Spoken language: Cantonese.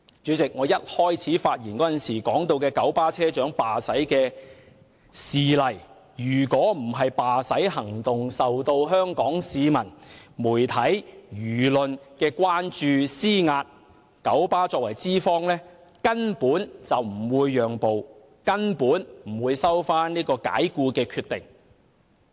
以我開始發言時提到的九巴車長罷駛事件為例，若非罷駛行動受到香港市民和媒體的關注和施壓，九巴作為資方根本不會讓步，根本不會收回解僱的決定。